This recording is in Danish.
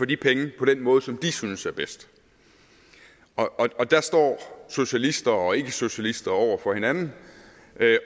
de penge på den måde som de synes er bedst og dér står socialister og ikkesocialister over for hinanden